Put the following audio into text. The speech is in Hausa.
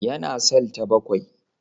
Yana cell ta bakwai.